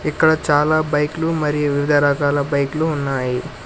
ఇక్కడ చాలా బైక్లు మరియు వివిధ రకాల బైక్లు ఉన్నాయి.